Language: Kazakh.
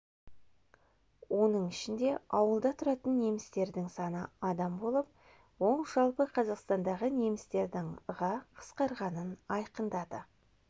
оның ішінде ауылда тұратын немістердің саны адам болып ол жалпы қазақстандағы немістердің ға қысқарғанын айқындады